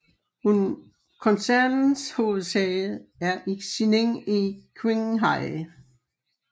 Koncernens hovedsæde er i Xining i Qinghai